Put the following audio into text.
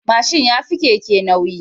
Mashin yafi Keke nauyi